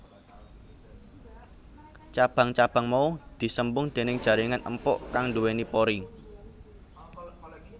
Cabang cabang mau disembung déning jaringan empuk kang duweni pori